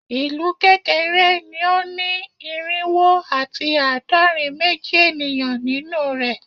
Ilu kekere ni o ni irinwo ati aadọrin meji eniyan ninu rẹ